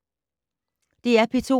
DR P2